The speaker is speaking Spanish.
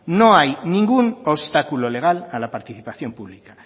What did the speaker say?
no hay ningún obstáculo legal a la participación pública